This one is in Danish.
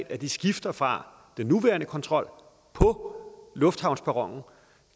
at de skifter fra den nuværende kontrol på lufthavnsperronen